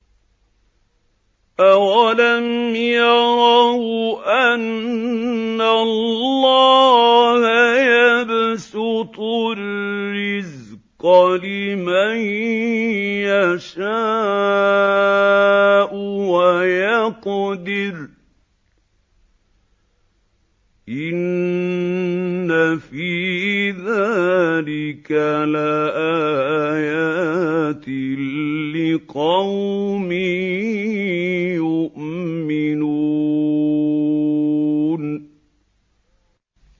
أَوَلَمْ يَرَوْا أَنَّ اللَّهَ يَبْسُطُ الرِّزْقَ لِمَن يَشَاءُ وَيَقْدِرُ ۚ إِنَّ فِي ذَٰلِكَ لَآيَاتٍ لِّقَوْمٍ يُؤْمِنُونَ